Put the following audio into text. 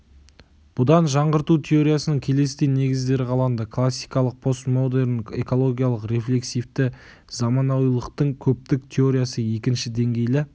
бұдан жаңғырту теориясының келесідей негіздері қаланды классикалық постмодерн экологиялық рефлексивті заманауилықтың көптік теориясы екінші деңгейлі